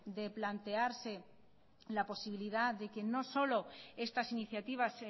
de plantearse la posibilidad de que no solo estas iniciativas